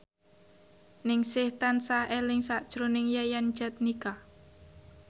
Ningsih tansah eling sakjroning Yayan Jatnika